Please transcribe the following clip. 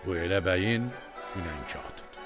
Bu elə bəyin hünərkağıtıdır.